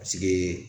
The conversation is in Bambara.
Paseke